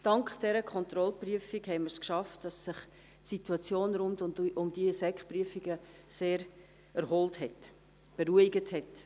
Dank dieser Kontrollprüfung haben wir es geschafft, dass sich die Situation rund um die Sekprüfungen sehr erholt hat, beruhigt hat.